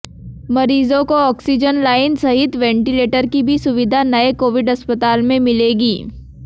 मरीजों को oxygen line सहित वेंटिलेटर की भी सुविधा नए कोविड अस्पताल में मिलेगी